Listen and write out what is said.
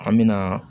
An me na